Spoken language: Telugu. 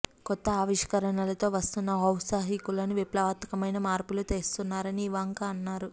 కొత్త ఆవిష్కరణలతో వస్తున్న ఔత్సాహికులు విప్లవాత్మకమైన మార్పులు తెస్తున్నారని ఇవాంకా అన్నారు